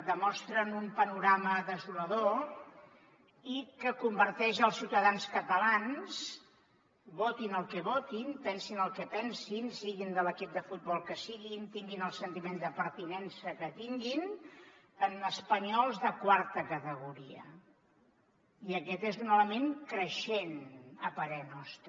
demostren un panorama desolador i que converteix els ciutadans catalans votin el que votin pensin el que pensin siguin de l’equip de futbol que siguin tinguin el sentiment de pertinença que tinguin en espanyols de quarta categoria i aquest és un element creixent a parer nostre